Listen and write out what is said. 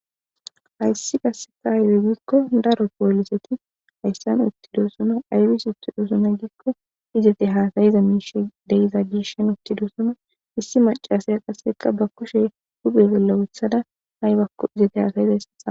hayssi qasseka haywi giikko daro pooliseti hayssan uttidossuna aywis ittu dosuna giikko izete haasayiza miishe deyiza giishan uttidosuna issi macasaya qasseka ba kushe huphe golla uthada haybakko izete haasayiza ysexa